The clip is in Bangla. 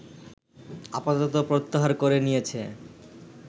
আপাতত প্রত্যাহার করে নিয়েছে